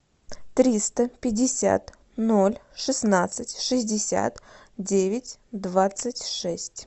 триста пятьдесят ноль шестнадцать шестьдесят девять двадцать шесть